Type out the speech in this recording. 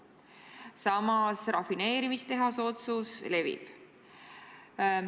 Samas rafineerimistehase otsusest jutt levib.